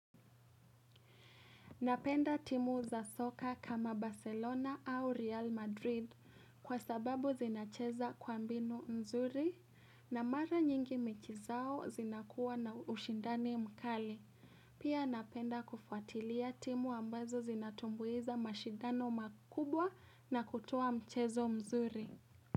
Napenda timu za soka kama Barcelona au Real Madrid kwa sababu zinacheza kwa mbinu mzuri na mara nyingi mechi zao zinakuwa na ushindani mkali. Pia napenda kufuatilia timu ambazo zinatumbuiza mashindano makubwa na kutoa mchezo mzuri.